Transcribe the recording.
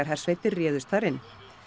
hersveitir réðust þar inn